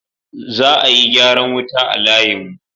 Za a yi gyaran wuta a layin mu